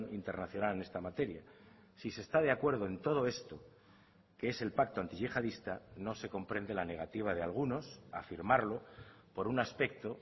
internacional en esta materia si se está de acuerdo en todo esto que es el pacto antiyihadista no se comprende la negativa de algunos a firmarlo por un aspecto